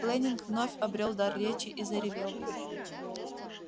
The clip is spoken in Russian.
лэннинг вновь обрёл дар речи и заревел